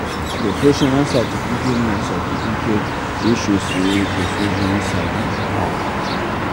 Professional certificate na certificate wey show sey person really sabi im work